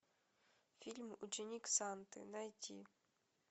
фильм ученик санты найти